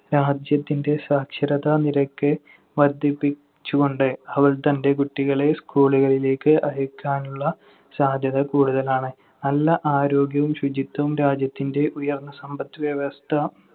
രാജ്യത്തിന്‍റെ സാക്ഷരതാ നിരക്ക് വർദ്ധിപ്പിച്ചുകൊണ്ട് അവൾ തന്‍റെ കുട്ടികളെ school കളിലേക്ക് അയക്കാനുള്ള സാധ്യത കൂടുതലാണ്. നല്ല ആരോഗ്യവും ശുചിത്വവും രാജ്യത്തിന്‍റെ ഉയർന്ന സമ്പദ്‌വ്യവസ്ഥ